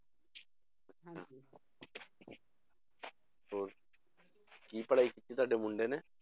ਹੋਰ ਕੀ ਪੜ੍ਹਾਈ ਕੀਤੀ ਤੁਹਾਡੇ ਮੁੰਡੇ ਨੇ?